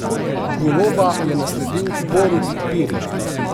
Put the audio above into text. Goloba je nasledil Borut Pirih.